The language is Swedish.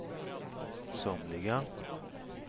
somliga